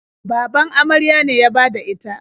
Baban amarya ne ya bada ita.